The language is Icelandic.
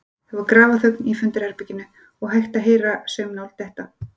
Það var grafarþögn í fundarherberginu og hægt að heyra saumnál detta.